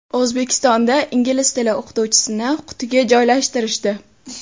O‘zbekistonda ingliz tili o‘qituvchisini qutiga joylashtirishdi.